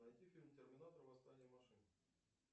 найти фильм терминатор восстание машин